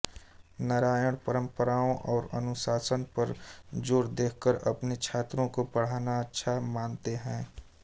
नारायण परंपराओं और अनुशासन पर जोर देकर अपने छात्रों को पढ़ाना अच्छा मानते हैं